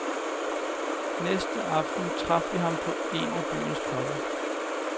Næste aften traf vi ham på en af byens pubber.